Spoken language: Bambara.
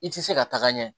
I tɛ se ka taga ɲɛ